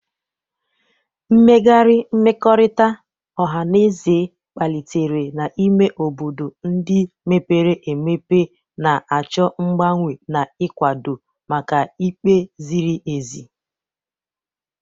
Mmegharị mmekọrịta ọha na eze kpalitere n'ime obodo ndị mepere emepe, na-achọ mgbanwe na ịkwado maka ikpe ziri ezi.